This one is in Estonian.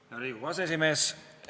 Hea Riigikogu aseesimees!